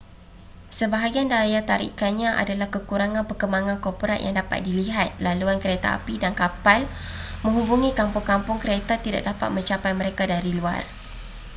sebahagian daya tarikannya adalah kekurangan perkembangan korporat yang dapat dilihat laluan keretapi dan kapal menghubungi kampung-kampung kereta tidak dapat mencapai mereka dari luar